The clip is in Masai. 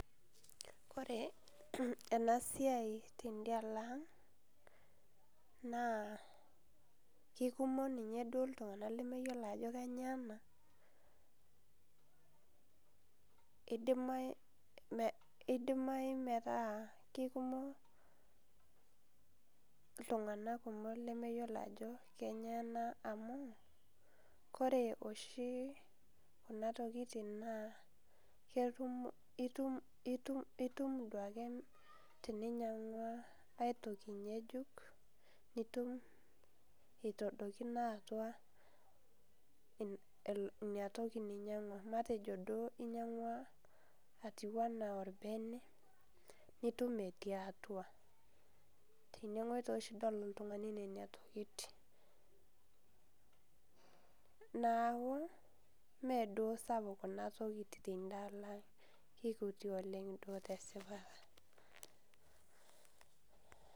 Kore enasiai tedalo ang, naa kikumok duo ninye iltung'anak lemeyiolo ajo kanyioo ena. Idimayu metaa kekumok iltung'anak kumok lemeyiolo ajo kenyoo ena amu, kore oshi kuna tokiting naa, itum duoke teninyang'ua ai toki ng'ejuk, nitum itadokino atua ina toki ninyang'ua. Matejo duo inyang'ua atiu enaa orbene, nitum etii atua. Teneng'oi toshi idol oltung'ani nena tokiting. Naku, meduo sapuk kuna tokiting tandalang, kekuti oleng duo tesipata.